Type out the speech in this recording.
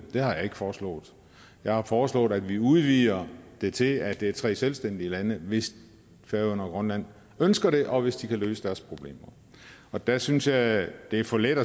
det har jeg ikke foreslået jeg har foreslået at vi udvider det til at det er tre selvstændige lande hvis færøerne og grønland ønsker det og hvis de kan løse deres problemer og der synes jeg jeg det er for let